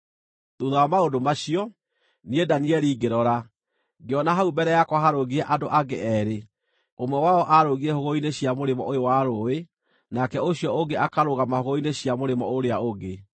Thuutha wa maũndũ macio, niĩ Danieli ngĩrora, ngĩona hau mbere yakwa harũngiĩ andũ angĩ eerĩ, ũmwe wao arũngiĩ hũgũrũrũ-inĩ cia mũrĩmo ũyũ wa rũũĩ nake ũcio ũngĩ akarũgama hũgũrũrũ-inĩ cia mũrĩmo ũrĩa ũngĩ.